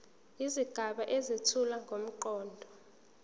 izigaba ezethula ngomqondo